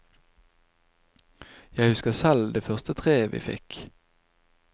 Jeg husker selv det første treet vi fikk.